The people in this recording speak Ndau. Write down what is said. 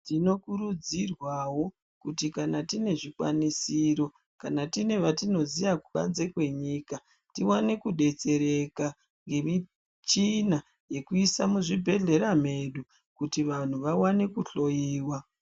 Tino kurudzirwawo kuti kana tine zvikwanisiro kana tine vatino ziya kubanze kwe nyika tiwane ku detsereka nge michina yeku isa mu zvibhedhlera medu kuti vanhu vawane ku hloyiwa.